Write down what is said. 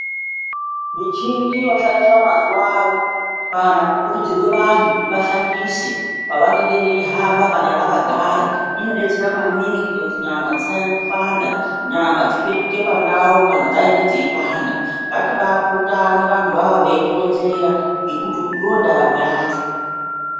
Michini yoshandiswa mazuwa ano, kana kukurudzirwe vantu kuti vashandise, pavanenge veihamba kana vakagara, inodetsera maningi kuite kuti nyama dzisanyanye kupanda. Nyama dzipetuke pandau kana dzainge dzeipanda. Ngatibaa purutane vantuwoawo veitironzera, ngekuti ndondaramo yacho.